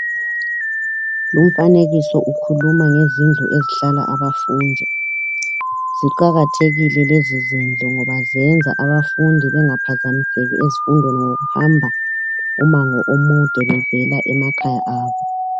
Lumfanekiso ukhuluma ngezindlu ezihlala abafundi. Ziqakathekile lezi zindlu ngoba zenza abafundi bengaphazamiseki ezifundweni ngokuhambi umango omude bevela emakhaya abo.